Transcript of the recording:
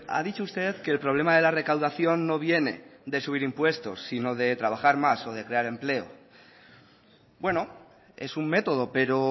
ha dicho usted que el problema de la recaudación no viene de subir impuestos sino de trabajar más o de crear empleo bueno es un método pero